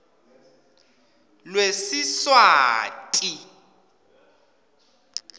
lwesiswati